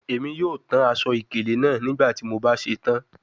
Emi yoo tan aṣọ-ikele naa nigbati mo ba ṣetan